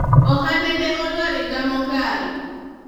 ohande ne olwar higa mokalo